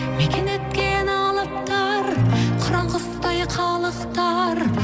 мекен еткен алыптар қыран құстай қалықтар